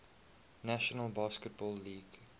national basketball league